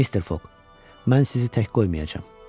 Mr. Fog, mən sizi tək qoymayacağam.